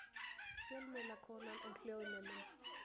Fjölmiðlakonan og hljóðneminn.